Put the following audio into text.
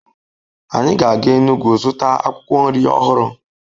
Anyị ga-aga Enugwu zụta akwụkwọ nri ọhụrụ